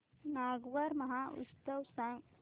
नागौर महोत्सव सांग